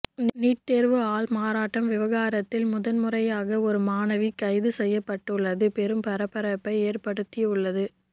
NEET தேர்வு ஆள்மாறாட்ட விவகாரத்தில் முதல்முறையாக ஒரு மாணவி கைது செய்யப்பட்டுள்ளது பெரும் பரபரப்பை ஏற்படுத்தியுள்ளது